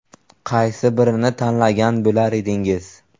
Qaysi birini tanlagan bo‘lar edingiz?